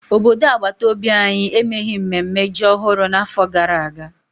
Obodo agbataobi anyị emeghị mnemme ji ọhụrụ n'afọ gara aga.